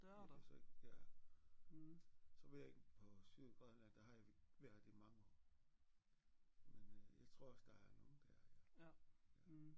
Jeg kan så ikke ja så ved jeg ikke på Sydgrønland der har jeg ikke været i mange år men øh jeg tror også der er nogle der ja